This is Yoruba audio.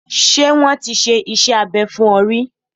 Ṣé wọ́n ti ṣe iṣẹ́ abẹ fún ọ ríí?